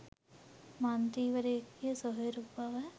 මන්ත්‍රීවරයකුගේ සොහොයුරකු බව